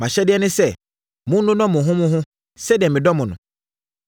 Mʼahyɛdeɛ ne sɛ, monnodɔ mo ho mo ho sɛdeɛ medɔ mo no.